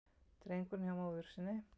Drengurinn hjá móður sinni